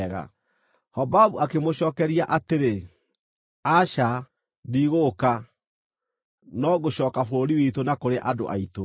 Hobabu akĩmũcookeria atĩrĩ, “Aca, ndigũũka; no ngũcooka bũrũri witũ na kũrĩ andũ aitũ.”